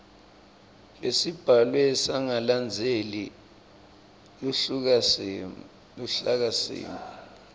lesibhalwe sangalandzeli luhlakasimo